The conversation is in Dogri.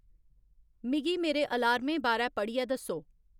मिगी मेरे अलार्में बारै पढ़ियै दस्सो